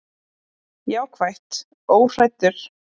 Jákvætt: Óhræddur.